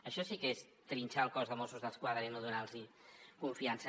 això sí que és trinxar el cos de mossos d’esquadra i no donar los confiança